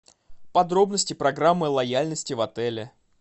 подробности программы лояльности в отеле